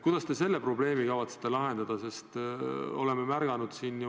Kuidas te selle probleemi kavatsete lahendada?